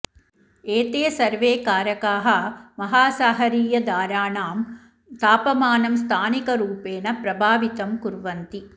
एते सर्वे कारकाः महासागरीयधाराणां तापमानं स्थानिकरूपेण प्रभावितं कुर्वन्ति